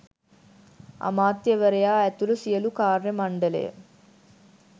අමාත්‍යවරයා ඇතුළු සියලු කාර්ය මණ්ඩලය